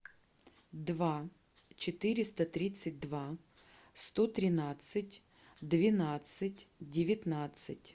два четыреста тридцать два сто тринадцать двенадцать девятнадцать